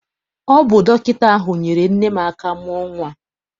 Ọ bụ dọkịta ahụ nyeere nne m aka mụọ nnwa.